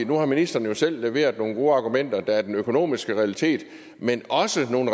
nu har ministeren jo selv leveret nogle gode argumenter nemlig at der er den økonomiske realitet men også nogle